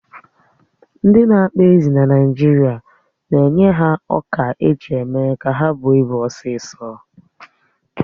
Ndị na-akpa ezi na Naijiria na-enye ha ọkà eji méé ka ha bụó ị́bu osisọ̀